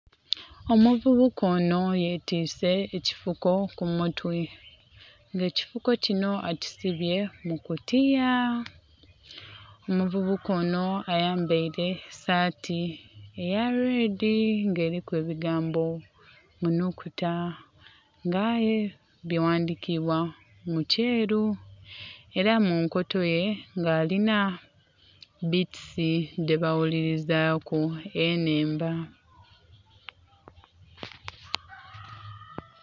Omuvubuka onho yetiise ekifuko ku mutwe nga ekifuko kinho akisibye mu kutiya. Omuvubuka onho ayambaile saati eya lwedi nga eliku ebigambo mu nhukuta nga aye bighandhikibwa mu kyeru. Ela mu nkoto ye nga alinha bitisi dhe ba ghulilizaku enhemba.